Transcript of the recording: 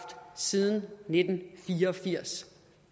siden nitten fire og firs